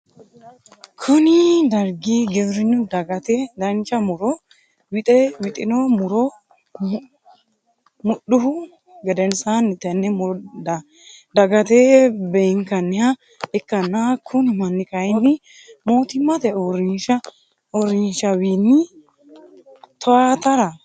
Kunni dargi giwirinu dagate dancha muro wixe wixino muro mudhuhu gedensaanni tenne muro dagate beenkanniha ikanna kunni manni kayinni mootimmate uurinsha wiinni towaatara dayino mannaati.